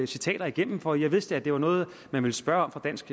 citater igennem for jeg vidste at det var noget man ville spørge om fra dansk